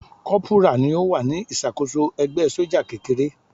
Kọ́pùrà ni ó wà ní ìṣàkóso ẹgbẹ́ sójà kékeré.